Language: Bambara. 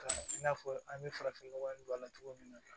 Ka i n'a fɔ an bɛ farafin nɔgɔ in don a la cogo min na